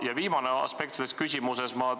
Ja viimane aspekt selles küsimuses.